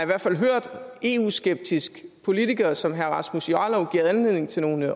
hvert fald hørt eu skeptisk politiker som herre rasmus jarlov give anledning til nogle